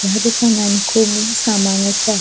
या दुकानान कुब सामान असा.